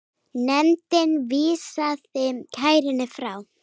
Nefndin vísaði kærunni frá.